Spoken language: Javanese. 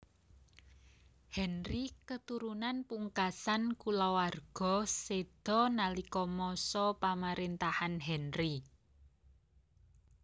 Henry keturunan pungkasan kulawarga séda nalika masa pamaréntahan Henry